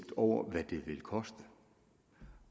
over hvad det vil koste